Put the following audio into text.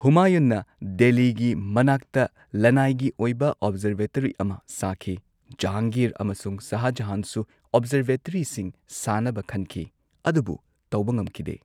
ꯍꯨꯃꯥꯌꯨꯟꯅ ꯗꯦꯜꯂꯤꯒꯤ ꯃꯅꯥꯛꯇ ꯂꯅꯥꯏꯒꯤ ꯑꯣꯏꯕ ꯑꯣꯕꯖꯔꯕꯦꯇꯔꯤ ꯑꯃ ꯁꯥꯈꯤ ꯖꯍꯥꯡꯒꯤꯔ ꯑꯃꯁꯨꯡ ꯁꯥꯍꯖꯍꯥꯟꯁꯨ ꯑꯣꯕꯖꯔꯕꯦꯇꯔꯤꯁꯤꯡ ꯁꯥꯅꯕ ꯈꯟꯈꯤ, ꯑꯗꯨꯕꯨ ꯇꯧꯕ ꯉꯝꯈꯤꯗꯦ꯫